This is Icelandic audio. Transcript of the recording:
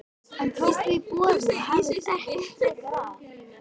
Hann tók því boði og hafðist ekki frekar að.